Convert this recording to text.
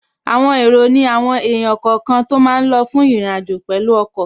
Àwọn èrò ní àwọn èèyàn kọ̀ọ̀kan tó máa lọ fún ìrìnàjò pẹ̀lú ọkọ̀